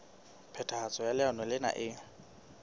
phethahatso ya leano lena e